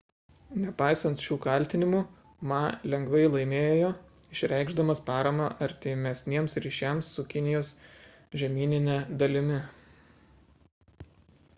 nepaisant šių kaltinimų ma lengvai laimėjo išreikšdamas paramą artimesniems ryšiams su kinijos žemynine dalimi